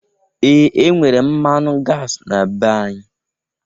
Ee! E nwere mmanụ gasi na be anyị.